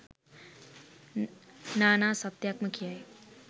නානා සත්‍යයක් ම කියයි.